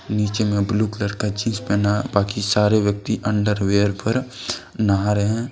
नीचे में blue colour का जीन्स पहना है बाकी सारे व्यक्ति अंडर वियर पर नहा रहे हैं।